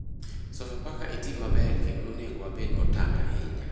Sofapaka e tim maber kendo onego wabed motang ahinya